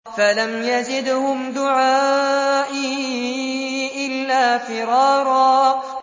فَلَمْ يَزِدْهُمْ دُعَائِي إِلَّا فِرَارًا